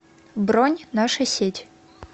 бронь наша сеть